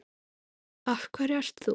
Af hverju ert þú?